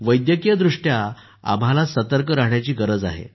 वैद्यकीय दृष्ट्या आम्हाला सतर्क रहाण्याची गरज आहे